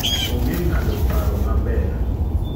Ong'e ng'ado paro maber.